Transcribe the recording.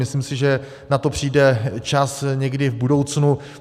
Myslím si, že na to přijde čas někdy v budoucnu.